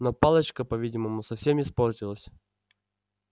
но палочка по-видимому совсем испортилась